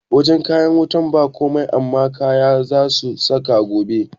Wajan kayan wutan ba komai amma kaya zasu sauka gobe